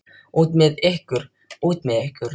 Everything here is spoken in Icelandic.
Út með ykkur. út með ykkur.